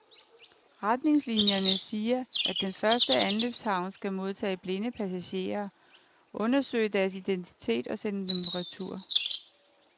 Retningslinierne siger at den første anløbshavn skal modtage blinde passagerer, undersøge deres identitet og sende dem retur.